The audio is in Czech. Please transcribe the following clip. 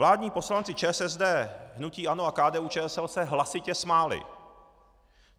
Vládní poslanci ČSSD, hnutí ANO a KDU-ČSL se hlasitě smáli.